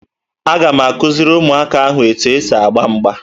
Aga m akụziri ụmụaka ahụ etu e si agba mgba